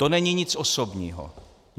To není nic osobní.